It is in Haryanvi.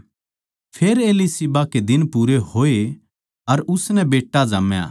फेर एलीशिबा कै दिन पूरे होए अर उसनै बेट्टा जाम्या